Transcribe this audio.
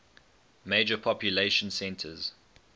major population centers